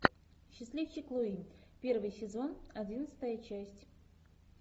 счастливчик луи первый сезон одиннадцатая часть